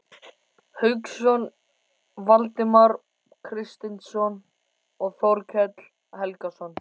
Hauksson, Valdimar Kristinsson og Þorkell Helgason.